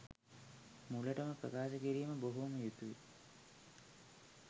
මුලටම ප්‍රකාශ කිරීම බොහොම යුතුයි.